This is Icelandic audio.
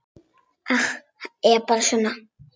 Hann er bara svona.